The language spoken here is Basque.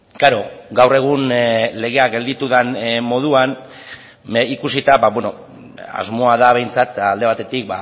klaro gaur egun legea gelditu den moduan ikusita asmoa da behintzat alde batetik